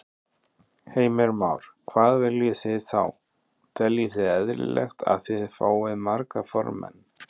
Heimir Már: Hvað viljið þið þá, teljið þið eðlilegt að þið fáið marga formenn?